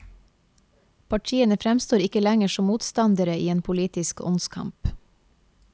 Partiene fremstår ikke lenger som motstandere i en politisk åndskamp.